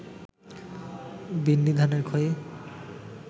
বিন্নিধানের খই